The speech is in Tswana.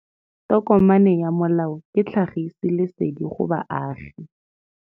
Tokomane ya molao ke tlhagisi lesedi go baagi.